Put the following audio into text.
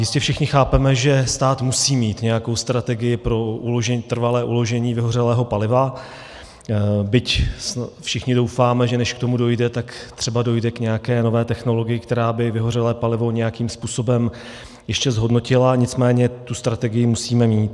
Jistě všichni chápeme, že stát musí mít nějakou strategii pro trvalé uložení vyhořelého paliva, byť všichni doufáme, že než k tomu dojde, tak třeba dojde k nějaké nové technologii, která by vyhořelé palivo nějakým způsobem ještě zhodnotila, nicméně tu strategii musíme mít.